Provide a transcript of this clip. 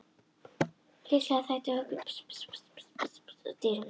Líklega þætti okkur ekki gaman að mæta slíkum dýrum.